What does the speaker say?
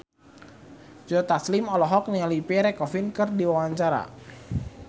Joe Taslim olohok ningali Pierre Coffin keur diwawancara